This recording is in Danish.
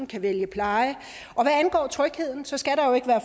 kan vælge pleje og hvad angår trygheden skal der jo ikke være